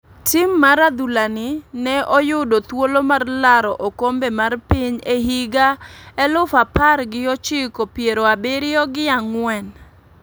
Tim mar adhula ni ne oyudo thuolo mar laro okombe mar piny e higa elufu apar gi ochiko piero abiriyo gi angwen